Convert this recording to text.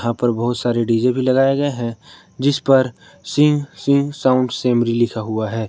यहाँ पर बहुत सारे डी जे भी लगाए गए हैं जिस पर सिंह सिंह साउंड सेमरी लिखा हुआ है।